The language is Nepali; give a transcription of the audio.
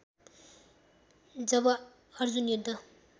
जब अर्जुन युद्ध